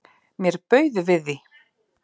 Mér bauð við því.